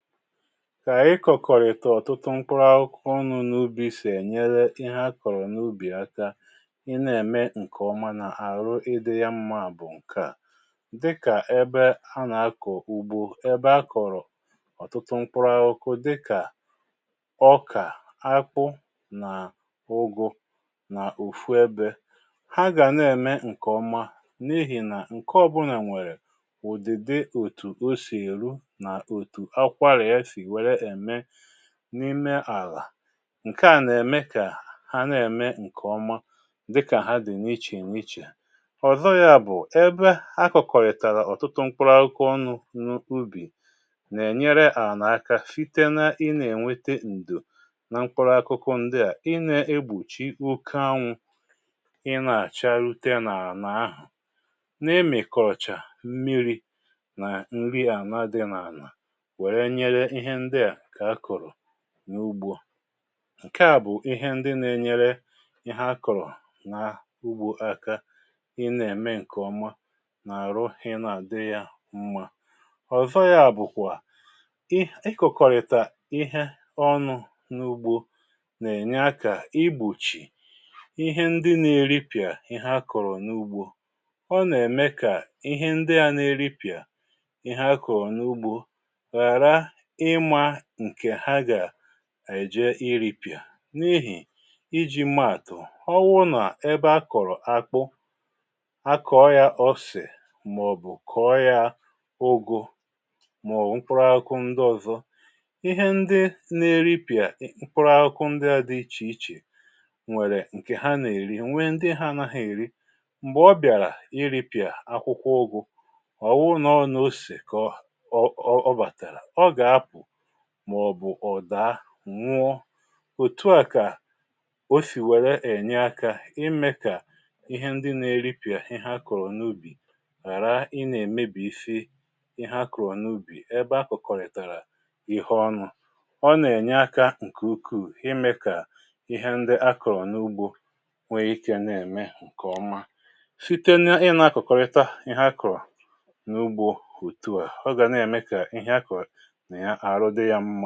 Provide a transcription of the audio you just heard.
Kà ịkọ̀kọ̀rịtọ̀ ọ̀tụtụ mkpụrụ n’ubi sì ènyere ihe akọ̀rọ̀ n’ubì aka, ị na-ème ǹkè ọma nà-àrụ ịdị̇ ya mmȧ bụ̀ ǹkè a. Dịkà ebe a nà-akọ̀ ùgbo, ebe akọ̀rọ̀ ọ̀tụtụ mkpụrụ aụkụ dịkà ọkà, akpụ, nà ụgụ nà ụfụ ebė. Ha gà na-ème ǹkè ọma n’ihì nà ǹke ọbụnà nwèrè ụ̀dìdị́òtù o sì èru na òtù akwara ya si wèré èké n’ime àlà. Nke à nà-ème kà ha na-ème ǹkè ọma dịkà ha dị̀ n’ichè n’ichè. Ọ̀zọ yȧ bụ̀ ebe akụ̀kọ̀rị̀tàrà ọ̀tụtụ mkpụrụ aụkụ ọnụ n’ubì nà-ènyere à n’aka site na ị na-ènwete ǹdò na mkpụrụ akụkụ ndị à, ị na-egbochi oké anwụ̇ị nà-àcharute n’àlà ahụ̀ n'ịmìkọchà mmiri nà nri àlá dị n’àlà were nyere ihe ndị a nke akọrọ n'ugbo. Nke à bụ̀ ihe ndị na-enyere ihe akụ̀rụ̀ n'ugbo aká ị na-ème ǹkè ọma nà àrụ ị na-àdị yȧ mmȧ. Ọ̀zọ yȧ bụ̀kwà um, ị kọ̀kọ̀rị̀tà ihe ọnụ́ n’ugbo nà-ènye akȧ igbochì ihe ndị na-èripị̀à ihe akụ̀rụ̀ n’ugbo. Ọ nà-ème kà ihe ndị a n’èripị̀à ihe akụ̀rụ̀ n’ugbȯ ghara ịma nke ha ga-èje iripị̀à n’ihì iji maàtụ̀, ọwụụ nà ebe a kọ̀rọ̀ akpụ, a kọọ yȧ osè màọ̀bụ̀ kọọ yȧ ụgụ màọ̀wụ̀ mkpụrụ akụkụ ndị ọ̀zọ, ihe ndị nà-eripị̀à mkpụrụ akụkụ ndị adị ichè ichè, nwèrè ǹkè ha nà-èri nwee ndị ha anaghị èrí. Mgbè ọ bịàrà iripị̀à akwụkwọ ụgụ, ọ wụ nà ọ na-osè kọọ um ọ bàtàrà, ọ ga-apụ̀ maọbụ ọ daa, nwụọ. Òtu à kà o sì wèré ènye akȧ imė kà ihe ndị na-eripịà ihe akọ̀rọ̀ n’ubì ghàra ị nà-èmebì isi ihe akọ̀rọ̀ n’ubì ebe akụ̀kọ̀rị̀tàrà ihe ọnụ.̇Ọ́ nà-ènye akȧ ǹkè ukuù imė kà ihe ndị akụ̀rọ̀ n’ugbȯ nwee ikė na-ème ǹkè ọma. Site na ị nȧ-akọ̀kọ̀rịta ihe akụ̀rọ̀ n’ugbȯ òtù a, ọ ga na-eme kà ihe akọ̀rọ na ya arụ, dị yà mmȧ.